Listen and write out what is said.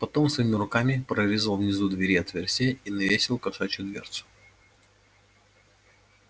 потом своими руками прорезал внизу двери отверстие и навесил кошачью дверцу